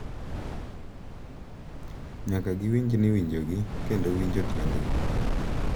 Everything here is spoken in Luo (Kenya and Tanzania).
Nyaka giwinj ni winjogi kendo winjo tiendgi .